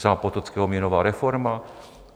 Zápotockého měnová reforma?